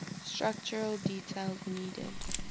structural details needed